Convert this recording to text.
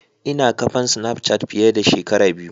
Ina kafan snapchat fiye da shekara biyu.